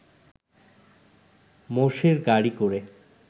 মোষের গাড়ি করে